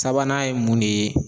Sabanan ye mun de ye?